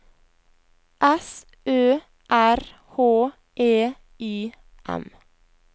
S Ø R H E I M